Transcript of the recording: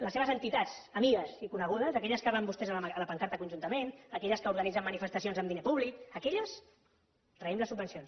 les seves entitats amigues i conegudes d’aquelles que van vostès amb la pancarta conjuntament aquelles que organitzen manifestacions amb diner públic d’aquelles traiem les subvencions